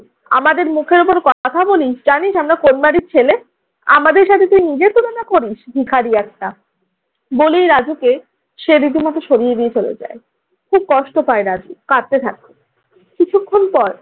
আমাদের মুখের উপর কথা বলিস, জানিস আমরা কোন বাড়ির ছেলে? আমাদের সাথে তুই নিজের তুলনা করিস? ভিখারি একটা, বলেই রাজুকে সে রীতিমতো সরিয়ে দিয়ে চলে যায়। খুব কষ্ট পায় রাজু, কাঁদতে থাকে। কিছুক্ষণ পর